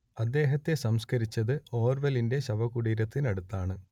അദ്ദേഹത്തെ സംസ്കരിച്ചത് ഓർവെലിന്റെ ശവകുടീരത്തിനടുത്താണ്